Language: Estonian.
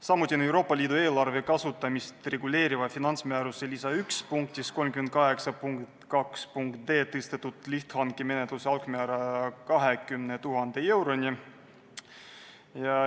Samuti on Euroopa Liidu eelarve kasutamist reguleeriva finantsmääruse lisa I punktis 38.2.d tõstetud lihthankemenetluse algmäära 20 000 euroni.